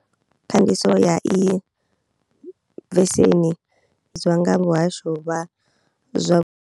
Khandiso ya iyi veseni nga muhasho wa zwa.